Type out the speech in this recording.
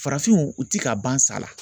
Farafinw u ti ka ban sala.